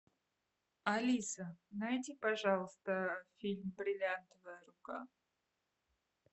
алиса найди пожалуйста фильм бриллиантовая рука